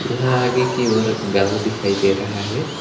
यहां आगे की ओर गांव दिखाई दे रहा है।